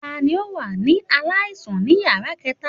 Tani o wa si alaisan ni yara kẹta?